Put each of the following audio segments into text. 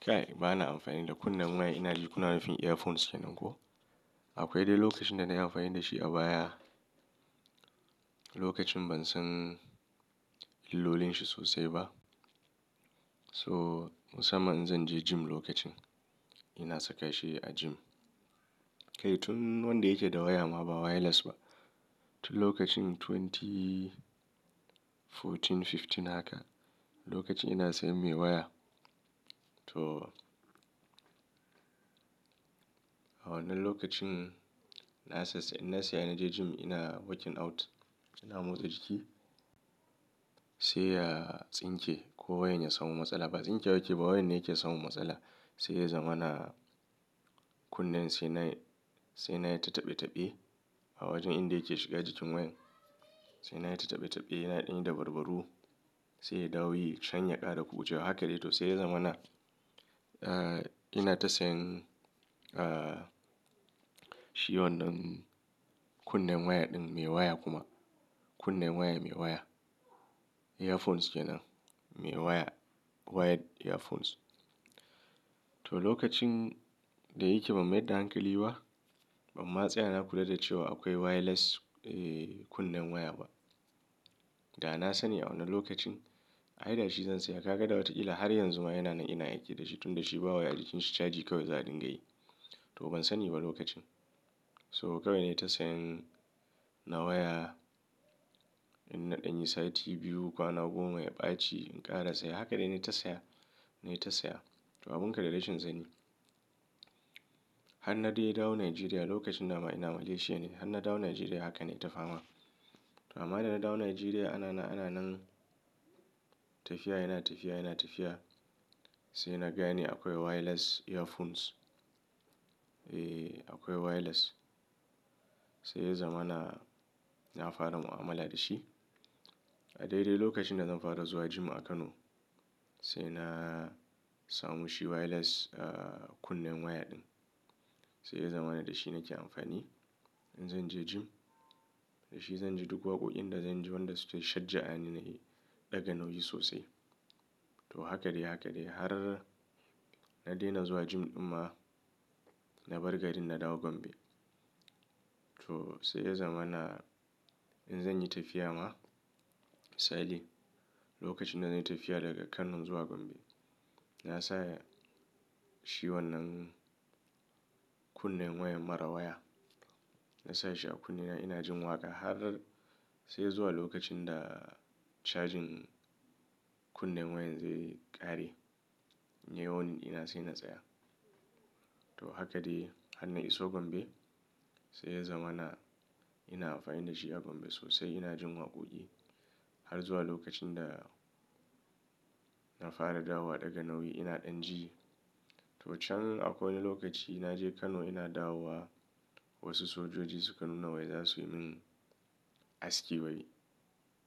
Kai ba na amfani da kunnen waya ina ji kuna rufin earphones kenan ko? Akwai dai lokacin da na yi amfani da shi a baya. Lokacin ban san illolin shi sosai ba. So musamman in zan je gym lokacin ina saka shi a gym. Kai tun wanda yake da waya ma ba wireless ba. Tun lokacin dubu biyu da sha huɗu, dubu biyu da sha biyar haka. Lokacin ina sayan mai waya. To a wannan lokacin na sa in na saya na je gym ina working out ina motsa jiki. Sai ya tsinke ko wayan ya samu matsala. Ba tsinke ba yake ba wayan ne yake samu matsala. Sai ya zama na kunnen sai na sai na yi ta taɓe taɓe a wajen inda yake shiga jikin wayan. Sai na yi ta taɓe taɓe ina ɗani da babaru. Sai dawuyi shan yaƙa da kukucewa haka dai. To sai ya zama na, ina ta sayan, ah shi wannan kunnen waya ɗin mai waya kuma. Kunnen waya mai waya. Earphones kenan. Mai waya. Wired earphones. To lokacin da yake ba mai da hankali ba, ban ma tsaya na kula da cewa akwai wireless, kunnen waya ba. Da na sani a wannan lokacin, ai da shi zan saya. Haka da wataƙila har yanzu ma yana nan ina aiki da shi tun da shi ba wa a jikin shi caji kawai za a dinga yi. To ban sani ba lokacin. So kawai na yi ta sayan na waya. In na ɗanyi sati biyu, kwana goma ya ɓaci in ƙara saya. Haka dai na yi ta saya. Na yi ta saya. To abun kadacishin zani. Han na dai ya dawo Nigeria lokacin nama ina Malaysia ne. Han na dawo Nigeria haka na yi ta fama. Amma da na dawo Nigeria ana na ana nan tafiya yana tafiya yana tafiya. Sai na gane akwai wireless earphones. Eh akwai wireless. Sai ya zama na, na fara mu'amala da shi. A daidai lokacin da zan fara zuwa gym a Kano. Sai na samu shi wireless, ah kunnen waya ɗin. Sai ya zama na da shi nake amfani in zan je gym. Da shi zan ji duk waƙoƙin da zan ji wanda suke shajja a ni na yi daga nau'i sosai. To haka dai haka dai har na daina zuwa gym ɗin ma. Na bar garin na dawo Gombe. To sai ya zama na, in zan yi tafiya ma. In lokacin da zan yi tafiya daga Kano zuwa Gombe. Na sa shi wannan kunnen wayan mara waya. Na sa shi a kunne na ina jin waƙa har sai zuwa lokacin da charging kunnen wayan zai ƙare. Nai wunin ina sai na tsaya. To haka dai han na iso Gombe. Sai ya zama na, ina amfani da shi a Gombe sosai ina jin waƙoƙi. Har zuwa lokacin da na fara dawowa daga nau'i ina ɗan ji. To can a wani lokaci na je Kano ina dawowa. Wasu sojoji suka nuna wai za su yi min aski wai.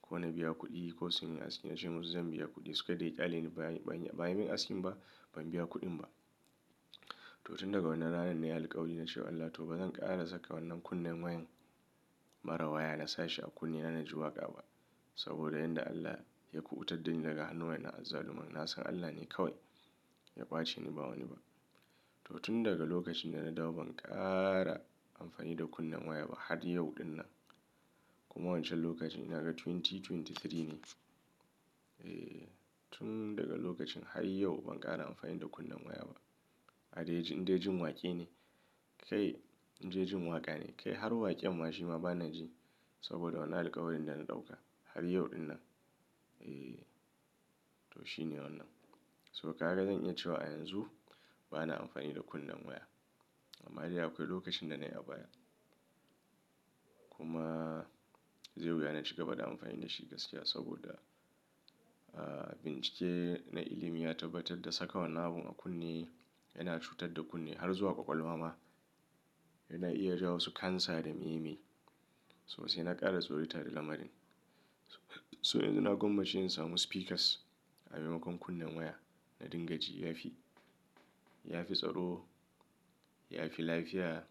Ko na biya kuɗi ko su yi aski na ce musu zan biya kuɗi. Suka dai ƙyale ni ba yin ba yi min askin ba. Ban biya kuɗin ba. To tun daga wannan ranar na yi alƙawari na ce wa Allah to bazan ƙara saka wannan kunnen wayan mara waya na sa shi a kunne na na ji waƙa ba. Saboda yanda Allah ya kuɓutar da ni daga hannuwan na azzaluman. Na san Allah ne kawai ya ɓace ni ba wani ba. To tun daga lokacin da na dawo ban ƙara amfani da kunnen waya ba har yau din nan. Kuma wancan lokacin ina ga dubu biyu da ashirin da uku ne. Eh tun daga lokacin har yau ban ƙara amfani da kunnen waya ba. Ada yi ji in dai jin waƙi ne. Kai in dai jin waƙa ne. Kai har waƙe'n ma shi ma ba na ji. Saboda wannan alƙawarin da na ɗauka har yau din nan. Eh to shi ne wannan. So haka zan yi cewa a yanzu ba na amfani da kunnen waya. Amma dai akwai lokacin da na yi a baya. Kuma zai wuya na shiga bada amfani da shi gaskiya saboda, ah bincike na ilimi ya tabbatar da saka wannan abun a kunne yana cutar da kunne har zuwa ƙwaƙwalwa ma. Yana iya jawo wasu cancer da me me. So sai na ƙara zorita da lamarin. So yanzu na gwammace in samu speakers a maimakon kunnen waya. Na dinga ji yafi, yafi tsaro, yafi lafiya.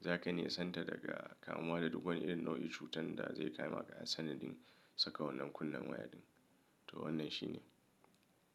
Zaka ne santa daga kamuwa da duk wani irin nau'in cutar da zai kama ka a sanadin saka wannan kunnen waya ɗin. To wannan shi ne.